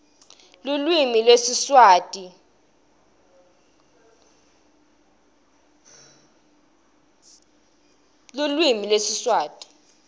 lulwimi lwesiswati wnabonkhamija